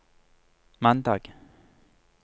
mandag